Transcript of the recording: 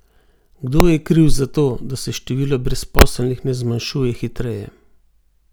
Kdo je kriv za to, da se število brezposelnih ne zmanjšuje hitreje?